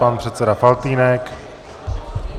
Pan předseda Faltýnek.